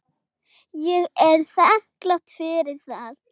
Ég er þakklát fyrir það.